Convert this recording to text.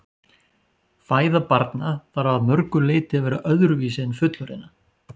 Fæða barna þarf að mörgu leyti að vera öðruvísi en fullorðinna.